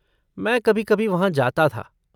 मैं कभी कभी वहाँ जाता था।